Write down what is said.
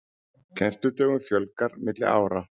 Kennsludögum fjölgar milli ára